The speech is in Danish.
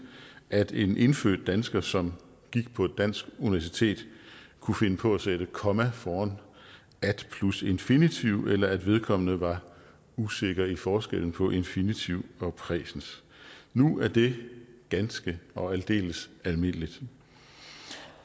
at en indfødt dansker som gik på et dansk universitet kunne finde på at sætte komma foran at plus infinitiv eller at vedkommende var usikker på forskellen på infinitiv og præsens nu er det ganske og aldeles almindeligt